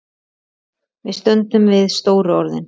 Við stöndum við stóru orðin.